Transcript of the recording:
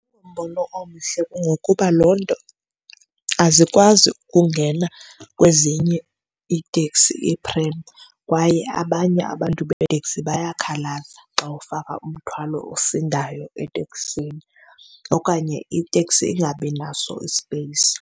Ngumbono omhle ngokuba loo nto azikwazi ukungena kwezinye iiteksi iiphremu kwaye abanye abantu beeteksi bayakhalaza xa ufaka umthwalo osindayo eteksini, okanye iteksi ingabinaso ispeyisi.